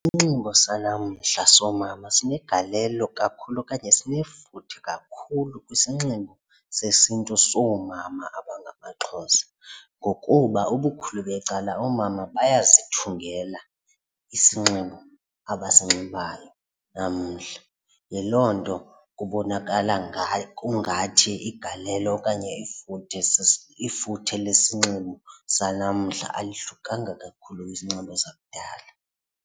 Isinxibo sala mhla soomama sinegalelo kakhulu okanye sinefuthe kakhulu kwisinxibo sesiNtu soomama abangamaXhosa ngokuba ubukhulu becala oomama bayazithungela isinxibo abasinxibayo namhla yiloo nto kubonakala ngayo kungathi igalelo okanye ifuthe ifuthe lesinxibo sanamhla alihlukanga kakhulu kwisinxibo sakudala.